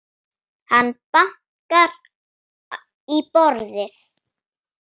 Hann bankar í borðið.